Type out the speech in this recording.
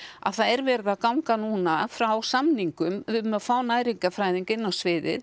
að það er verið að ganga núna frá samningum um að fá næringarfræðing inn á sviðið